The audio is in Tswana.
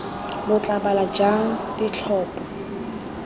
lo tla bala jang ditlhopho